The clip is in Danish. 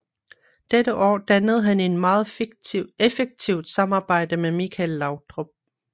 Dette år dannede han et meget effektivt samarbejde med Michael Laudrup